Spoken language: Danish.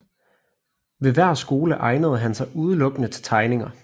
Ved hver skole egnede han sig udelukkende til tegninger